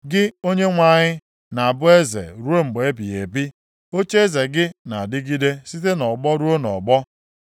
Gị, Onyenwe anyị, na-abụ eze ruo mgbe ebighị ebi. Ocheeze gị na-adịgide site nʼọgbọ ruo nʼọgbọ.